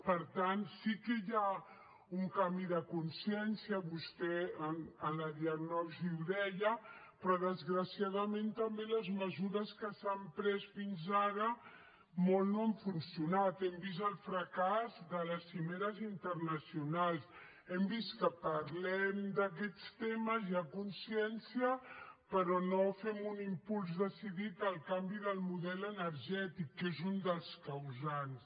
per tant sí que hi ha un canvi de consciència vostè a la diagnosi ho deia però desgraciadament també les mesures que s’han pres fins ara molt no han funcionat hem vist el fracàs de les cimeres internacionals hem vist que parlem d’aquests temes hi ha consciència però no fem un impuls decidit al canvi del model energètic que és un dels causants